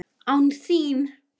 Án þín!